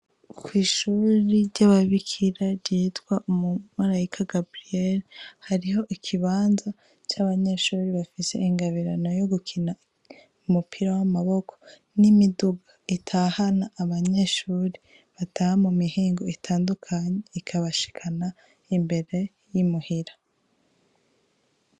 Kw'ishure ry'ababikira ryitwa"Umumalayika Gaburiyeri",hariho ikibanza c'abanyeshuri bafise ingabirano yo gukina umupira w'amaboko n'imiduga itahana abanyeshure mumihingo itandukanye ikabashikana imbere y'i muhira.